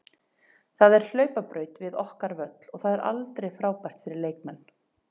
Það er hlaupabraut við okkar völl og það er aldrei frábært fyrir leikmenn.